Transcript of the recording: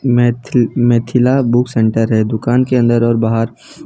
methyl Mithila book centre है दुकान के अंदर और बाहर --